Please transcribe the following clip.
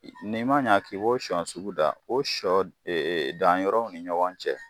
Ni i ma ɲa k'i b'o sɔ sugu dan o sɔ dan yɔrɔw ni ɲɔgɔn cɛ